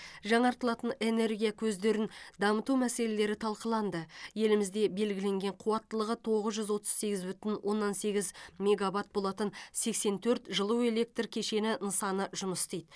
жаңартылатын энергия көздерін дамыту мәселелері талқыланды елімізде белгіленген қуаттылығы тоғыз жүз отыз сегіз бүтін оннан сегіз мегаватт болатын сексен төрт жылу электр кешені нысаны жұмыс істейді